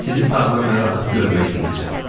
Sizi sağlam və rahat görməyi diləyirəm.